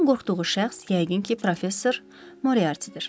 Onun qorxduğu şəxs yəqin ki, professor Moriartidir.